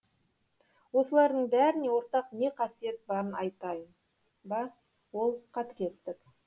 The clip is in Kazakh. осылардың бәріне ортақ не қасиет барын айтайын ба ол қатыгездік